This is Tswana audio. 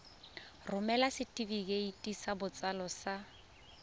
romela setefikeiti sa botsalo sa